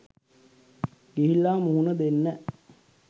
ගිහිල්ලා මුහුණ දෙන්න.